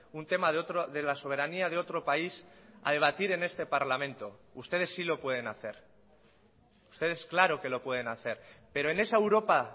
un tema de la soberanía de otro país a debatir en este parlamento ustedes sí lo pueden hacer ustedes claro que lo pueden hacer pero en esa europa